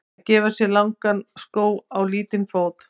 Að gera sér langan skó á lítinn fót